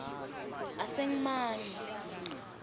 asengimane